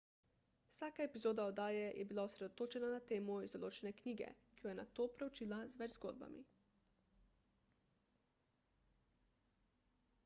vsaka epizoda oddaje je bila osredotočena na temo iz določene knjige ki jo je nato preučila z več zgodbami